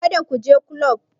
Kada ku je kulob!